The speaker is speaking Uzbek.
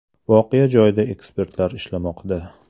Voqea joyida ekspertlar ishlamoqda.